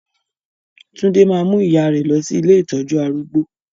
Tunde máa mú ìyà rẹ lọ sí ilé ìtọ́jú arúgbó